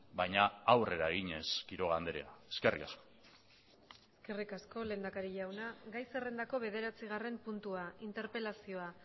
baina aurrera eginez quiroga andrea eskerrik asko eskerrik asko lehendakari jauna gai zerrendako bederatzigarren puntua interpelazioa